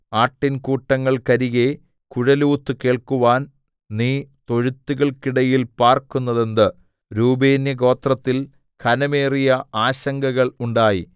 ആട്ടിൻകൂട്ടങ്ങൾക്കരികെ കുഴലൂത്തു കേൾക്കുവാൻ നീ തൊഴുത്തുകൾക്കിടയിൽ പാർക്കുന്നതെന്തു രൂബേന്യഗോത്രത്തിൽ ഘനമേറിയ ആശങ്കകൾ ഉണ്ടായി